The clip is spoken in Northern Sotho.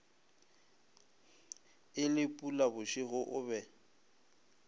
e le phulabošego o be